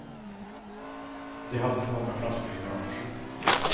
De hade för många flaskor i bagaget.